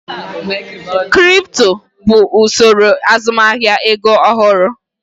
Kripto bụ usoro azụmahịa ego ọhụrụ.